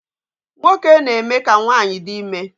Nwoke na-eme ka nwanyị di ime